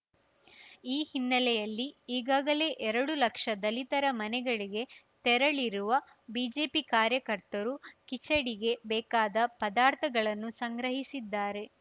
ಈ ಹಿನ್ನೆಲೆಯಲ್ಲಿ ಈಗಾಗಲೇ ಎರಡು ಲಕ್ಷ ದಲಿತರ ಮನೆಗಳಿಗೆ ತೆರಳಿರುವ ಬಿಜೆಪಿ ಕಾರ್ಯಕರ್ತರು ಕಿಚಡಿಗೆ ಬೇಕಾದ ಪದಾರ್ಥಗಳನ್ನು ಸಂಗ್ರಹಿಸಿದ್ದಾರೆ